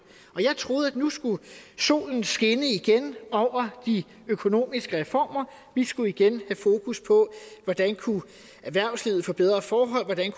jeg troede at nu skulle solen skinne igen over de økonomiske reformer vi skulle igen have fokus på hvordan erhvervslivet kunne få bedre forhold hvordan